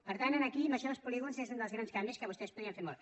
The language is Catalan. per tant aquí això dels polígons és un dels grans canvis que vostès podrien fer molt